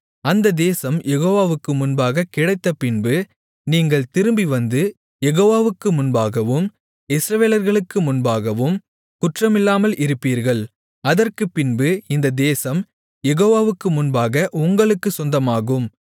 அந்த தேசம் யெகோவாவுக்கு முன்பாக கிடைத்தபின்பு நீங்கள் திரும்பி வந்து யெகோவாவுக்கு முன்பாகவும் இஸ்ரவேலர்களுக்கு முன்பாகவும் குற்றமில்லாமல் இருப்பீர்கள் அதற்குப்பின்பு இந்த தேசம் யெகோவாவுக்கு முன்பாக உங்களுக்குச் சொந்தமாகும்